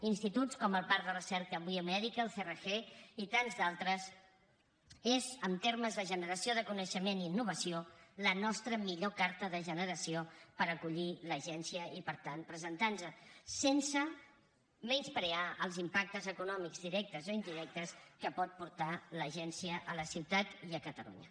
instituts com el parc de recerca biomèdica el crg i tants d’altres són en termes de generació de coneixement i innovació la nostra millor carta de presentació per acollir l’agència i per tant presentar nos sense menysprear els impactes econòmics directes o indirectes que pot portar l’agència a la ciutat i a catalunya